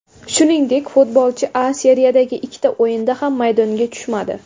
Shuningdek, futbolchi A Seriyadagi ikkita o‘yinda ham maydonga tushmadi.